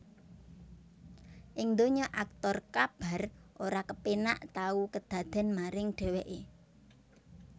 Ing donya aktor Kabar ora kepénak tau kedadèn maring dheweké